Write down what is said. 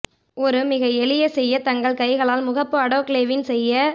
ஒரு மிக எளிய செய்ய தங்கள் கைகளால் முகப்பு ஆடோக்லேவின் செய்ய